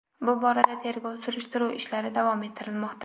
Bu borada tergov-surishtiruv ishlari davom ettirilmoqda.